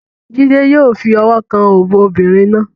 Jide yó fi ọwọ́ kan òbò obìnrin náà.